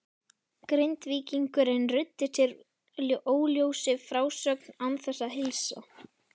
Grindvíkingurinn ruddi úr sér óljósri frásögn án þess að heilsa.